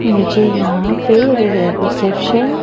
मुझे यहाँ पे रिसेप्शन --